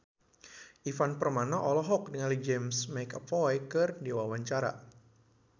Ivan Permana olohok ningali James McAvoy keur diwawancara